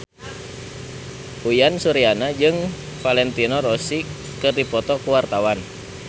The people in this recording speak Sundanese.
Uyan Suryana jeung Valentino Rossi keur dipoto ku wartawan